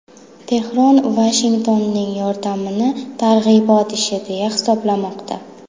Tehron Vashingtonning yordamini targ‘ibot ishi deya hisoblamoqda.